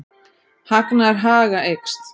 Hagnaður Haga eykst